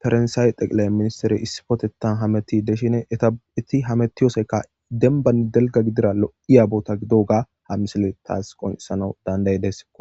farnsaay xeqilay ministere issipotetan hameti deshine eta7eti hametiyosekka denbanni delga gidira lo7iya bota gido ga ha misile taas qoncisana danday dessikko